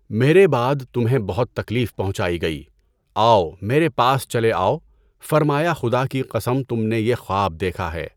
میرے بعد تمہیں بہت تکلیف پہنچائی گئی، آؤ میرے پاس چلےآؤ، فرمایا خدا کی قسم تم نے یہ خواب دیکھا ہے؟